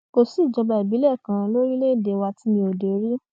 kò sí ìjọba ìbílẹ kan lórílẹèdè wa tí mi ò dé rí